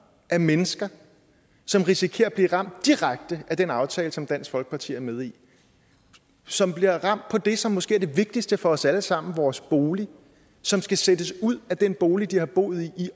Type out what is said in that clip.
af mennesker som risikerer at blive ramt direkte af den aftale som dansk folkeparti er med i som bliver ramt på det som måske er det vigtigste for os alle sammen nemlig vores bolig som skal sættes ud af den bolig de har boet i i